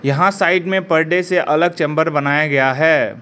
यहां साइड में पर्दे से अलग चैंबर बनाया गया है।